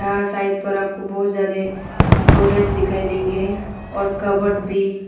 यहां साइड पर आपको बहुत ज्यादे गोदरेज दिखाई देंगे और कबर्ड भी।